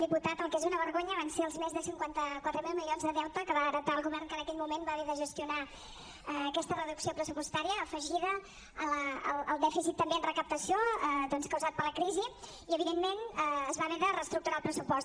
diputat el que és una vergonya van ser els més de cinquanta quatre mil milions de deute que va heretar el govern que en aquell moment va haver de gestionar aquesta reducció pressupostària afegida al dèficit també en recaptació doncs causat per la crisi i evidentment es va haver de reestructurar el pressupost